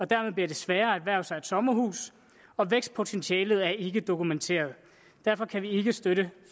dermed bliver sværere at erhverve sig et sommerhus og vækstpotentialet er ikke dokumenteret derfor kan vi ikke støtte